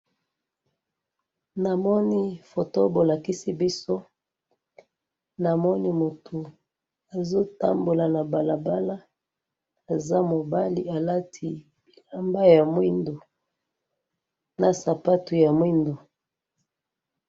namoni photo bolakisi biso namoni moutou azo tambola na balabala alati elamba ya mwindou na sapatou ya mwindou